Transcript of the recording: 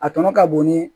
A tɔ ka bon ni